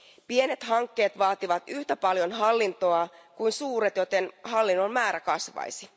Pienet hankkeet vaativat yhtä paljon hallintoa kuin suuret, joten hallinnon määrä kasvaisi.